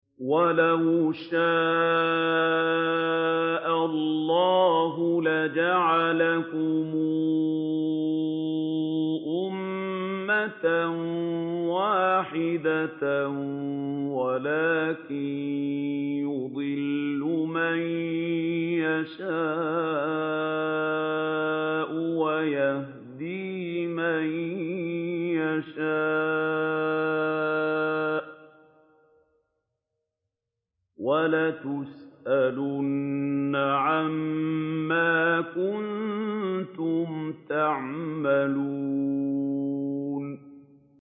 وَلَوْ شَاءَ اللَّهُ لَجَعَلَكُمْ أُمَّةً وَاحِدَةً وَلَٰكِن يُضِلُّ مَن يَشَاءُ وَيَهْدِي مَن يَشَاءُ ۚ وَلَتُسْأَلُنَّ عَمَّا كُنتُمْ تَعْمَلُونَ